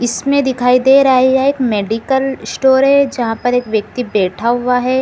इसमें दिखाई दे रहा है यहाँ एक मेडिकल स्टोर है जहाँ पर एक व्यक्ति बैठा हुआ है।